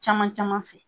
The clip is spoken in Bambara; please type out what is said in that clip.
Caman caman fɛ